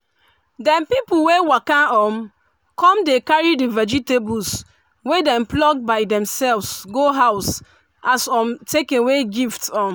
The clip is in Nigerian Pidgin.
dem pipu wey waka um come dey carry the vegetables wey dem pluck by demself go house as um takeaway gift. um